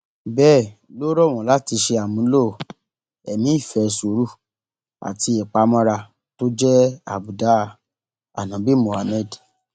bẹẹ ló rọ wọn láti ṣe àmúlò ẹmí ìfẹ sùúrù àti ìpamọra tó jẹ àbùdá àǹòbí muhammed